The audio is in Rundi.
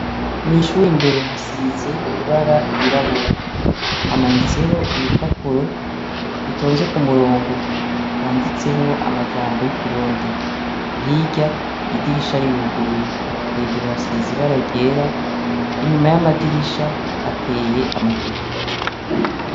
mwishuri imbere hasize ibara ryirabura hamanitseho ibipapuro bitonze ku murongo byanditsemo amajambo y'ikirundi higa idirisha riruguruye hejuru hasize ibaragera inyuma y'amadirisha hateye amateke